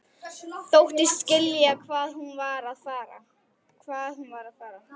Þóttist skilja hvað hún var að fara.